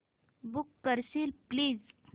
book करशील please